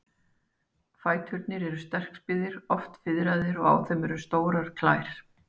Fæturnir eru sterkbyggðir, oft fiðraðir, og á þeim eru stórar klær.